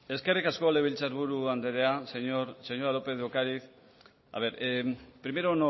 eskerrik asko legebiltzar buru andrea señora lópez de ocariz a ver primero